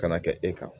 Ka na kɛ e kan